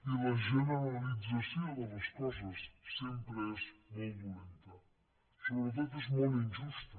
i la generalització de les coses sempre és molt dolenta sobretot és molt injusta